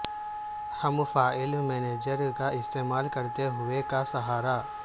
ہم file manager کا استعمال کرتے ہوئے کا سہارا